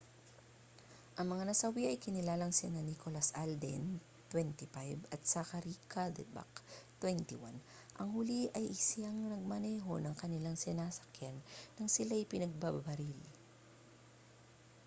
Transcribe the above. ang mga nasawi ay kinilalang sina nicholas alden 25 at zachary cuddeback 21 ang huli ang siyang nagmamaneho ng kanilang sinasakyan nang silay pinagbabaril